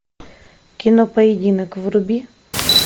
кино поединок вруби